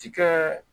Ti kɛ